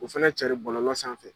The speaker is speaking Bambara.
O fana carin bɔlɔlɔ sanfɛ.